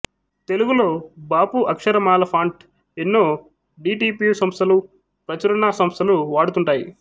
తెలుగులో బాపు అక్షరమాల ఫాంట్ ఎన్నో డి టి పి సంస్థలూ ప్రచురణా సంస్థలూ వాడుతుంటాయి